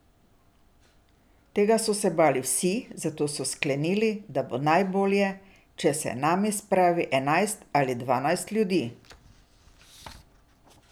Tega so se bali vsi, zato so sklenili, da bo najbolje, če se name spravi enajst ali dvanajst ljudi.